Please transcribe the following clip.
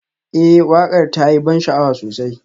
Ee waƙar ta yi ban sha'awa sosai